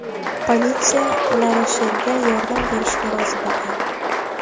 Politsiya LaRoshelga yordam berishga rozi bo‘lgan.